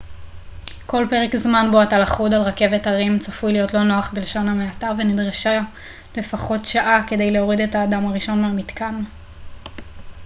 כל פרק זמן בו אתה לכוד על רכבת הרים צפוי להיות לא נוח בלשון המעטה ונדרשה לפחות שעה כדי להוריד את האדם הראשון מהמתקן